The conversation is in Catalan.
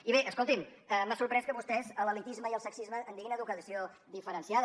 i bé escolti’m m’ha sorprès que vostès de l’elitisme i el sexisme en diguin educació diferenciada